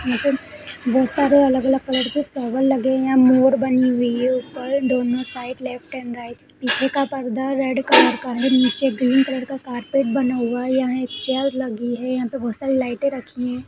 यहां पे बहुत सारे अलग-अलग कलर के फ्लॉवर लगे हुए है यह मोर बनी हुई है यहां पर दोनों side left and right side पीछे का पर्दा रेड कलर का है नीचे ग्रीन कलर का कार्पेट बना हुआ है यहां एक चेयर लगी हुई है यहां पे बहुत सारे लाइटे लगी हुई है।